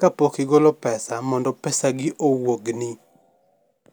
kapok igolo pesa mondo pesagi owuogni.